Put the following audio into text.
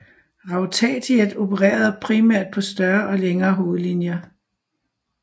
Rautatiet opererede primært på større og længere hovedlinjer